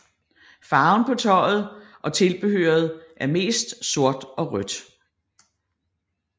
Farven på tøjet og tilbehøret er mest sort og rødt